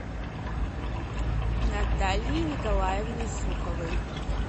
натальей николаевной суховой